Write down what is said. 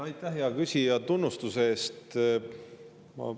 Aitäh, hea küsija, tunnustuse eest!